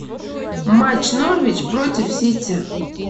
матч норвич против сити